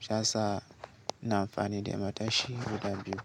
Shiyasa ina amfani da matashi guda biyu.